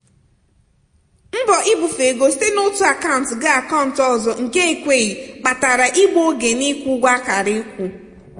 mbọ ibufe ego site n'otu akant ga akant ọzọ nke ekweghị kpatara igbu oge n'ịkwụ ụgwọ akara ịkwụ.